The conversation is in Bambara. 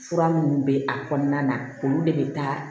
Fura minnu bɛ a kɔnɔna na olu de bɛ taa